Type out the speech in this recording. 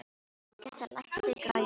Gestar, lækkaðu í græjunum.